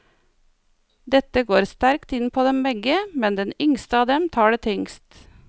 Dette går sterkt inn på dem begge, men den yngste av dem tar det tyngst.